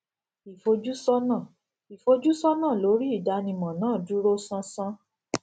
ìfojúsọnà ìfojúsọnà lórí ìdánimọ náà dúró sánsan